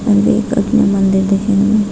अंदर काफी मंदिर दिख रहें हैं।